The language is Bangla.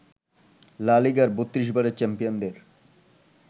লা লিগার ৩২ বারের চ্যাম্পিয়নদের